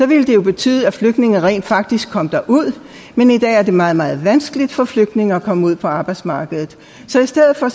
ville det jo betyde at flygtningene rent faktisk kom derud men i dag er det meget meget vanskeligt for flygtninge at komme ud på arbejdsmarkedet så i stedet for